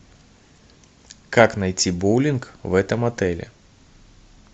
как найти боулинг в этом отеле